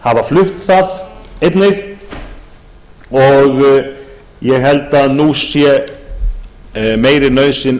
hafa flutt það einnig ég held að nú sé meiri nauðsyn